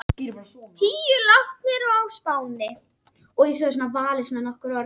Til að forðast ofþornun, má reyna að sjúga ísmola eða frostpinna.